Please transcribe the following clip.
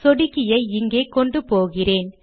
சொடுக்கியை இங்கே கொண்டு போகிறேன்